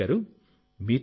మయూర్ గారూ